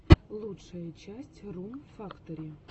лучшая часть рум фактори